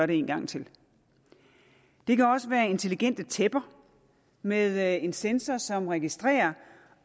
det én gang til det kan også være intelligente tæpper med en sensor som registrerer